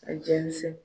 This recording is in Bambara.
A jɛnsɛn